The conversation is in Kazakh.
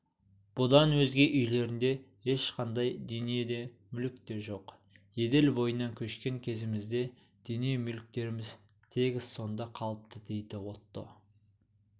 бұдан өзге үйлерінде ешқандай дүние де мүлік те жоқ еділ бойынан көшкен кезімізде дүние-мүліктеріміз тегіс сонда қалыпты дейді отто